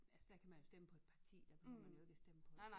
Altså de kan man jo stemme på et parti der behøver man jo ikke at stemme på